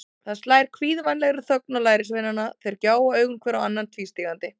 Það slær kvíðvænlegri þögn á lærisveinana, þeir gjóa augunum hver á annan tvístígandi.